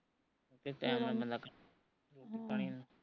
ਫੇਰ ਟੈਮ ਨਾਲ਼ ਬੰਦਾ ਘਰ ਹਮ ਰੋਟੀ ਪਾਣੀ